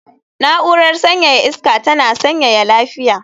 Na'urar sanyaya iska ta tana sanyaya lafiya